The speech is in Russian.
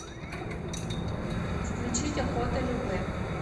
включить охота любэ